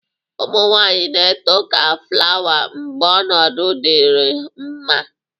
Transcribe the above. Ụmụ nwaanyị na-eto ka flawa mgbe ọnọdụ dịrị mma.